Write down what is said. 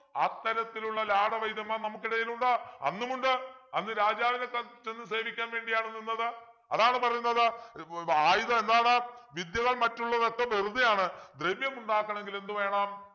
അത്തരത്തിലുള്ള ലാട വൈദ്യന്മാർ നമുക്കിടയിൽ ഉണ്ട് അന്നുമുണ്ട് അന്ന് രാജാവിനെ ചെ ചെന്ന് സേവിക്കാൻ വേണ്ടിയാണു നിന്നത് അതാണ് പറയുന്നത് ഏർ ആയുധം എന്താണ് വിദ്യകൾ മറ്റുള്ളതൊക്കെ വെറുതെയാണ് ദ്രവ്യമുണ്ടാക്കാണെങ്കിൽ എന്ത് വേണം